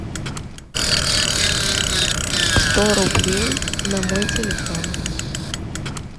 сто рублей на мой телефон